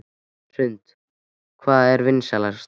Hrund: Hvað er vinsælast?